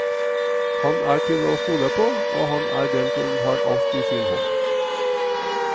Han er til å stole på, og han er den som har alt i sin hånd.